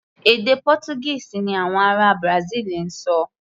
Èdè Pọ́túgíìsì ni àwọn ará Brasil ń sọ.